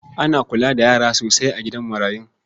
Ana kula da yara sosai a gidan marayun.